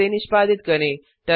फिर से निष्पादित करें